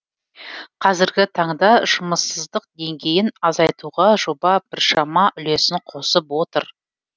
қазіргі таңда жұмыссыздық деңгейін азайтуға жоба біршама үлесін қосып отыр